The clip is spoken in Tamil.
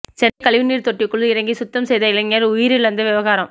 சென்னையில் கழிவுநீர் தொட்டிக்குள் இறங்கி சுத்தம் செய்த இளைஞன் உயிரிழந்த விவகாரம்